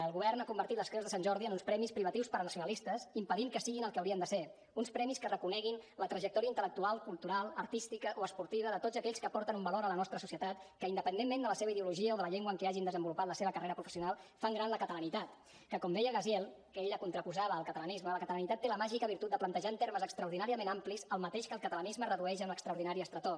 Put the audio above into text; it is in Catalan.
el govern ha convertit les creus de sant jordi en uns premis privatius per a nacionalistes i impedit que siguin el que haurien de ser uns premis que reconeguin la trajectòria intel·lectual cultural artística o esportiva de tots aquells que aporten un valor a la nostra societat que independentment de la seva ideologia o de la llengua en què hagin desenvolupat la seva carrera professional fan gran la catalanitat que com deia gaziel que ell la contraposava al catalanisme la catalanitat té la màgica virtut de plantejar en termes extraordinàriament amplis el mateix que el catalanisme redueix a una extraordinària estretor